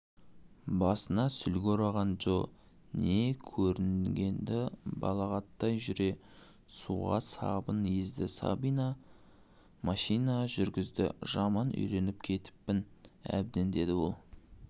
басына сүлгі ораған джо не көрінгенді балағаттай жүре суға сабын езді машина жүргіздіжаман үйреніп кетіппін әбден деді ол